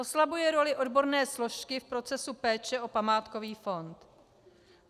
Oslabuje roli odborné složky v procesu péče o památkový fond.